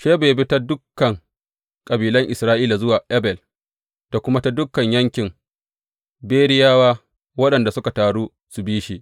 Sheba ya bi ta dukan kabilan Isra’ila zuwa Abel da kuma ta dukan yankin Beriyawa, waɗanda suka taru suka bi shi.